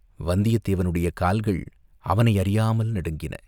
வந்தியத்தேவனுடைய கால்கள் அவனை அறியாமல் நடுங்கின.